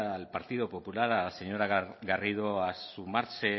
al partido popular a la señora garrido a sumarse